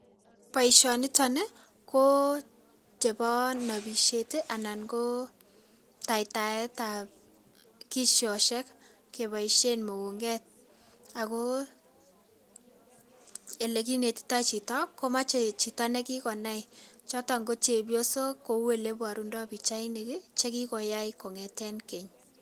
Boisyoniton ih kochebo nobisyet ih anan ko taitaebat kisosyek keboisyen mukunget ako ele kinetitoi chito komoche chito nekikonai choton ko chepyosok kou oleborundoo pichainik ih chekikoyai kongeten keny